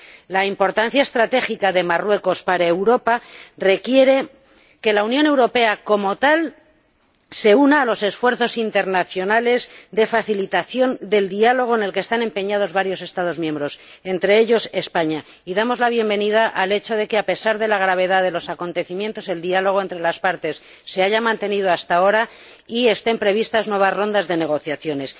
La importancia estratégica de Marruecos para Europa requiere que la Unión Europea como tal se una a los esfuerzos internacionales de facilitación del diálogo en los que están empeñados varios Estados miembros —entre ellos, España— y damos la bienvenida al hecho de que, a pesar de la gravedad de los acontecimientos, el diálogo entre las partes se haya mantenido hasta ahora y estén previstas nuevas rondas de negociaciones.